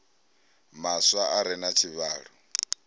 maswa a re na tshivhalo